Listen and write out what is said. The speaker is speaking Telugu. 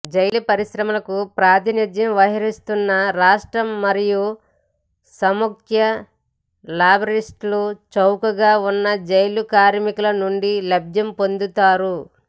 జైలు పరిశ్రమలకు ప్రాతినిధ్యం వహిస్తున్న రాష్ట్ర మరియు సమాఖ్య లాబీయిస్టులు చౌకగా ఉన్న జైలు కార్మికుల నుండి లబ్ది పొందుతారు